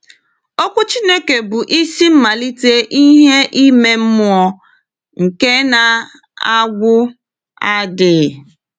Okwu Chineke bụ isi mmalite ìhè ime mmụọ nke na-agwụ adịghị.